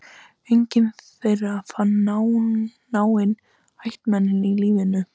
Enginn þeirra fann náin ættmenni á lífi.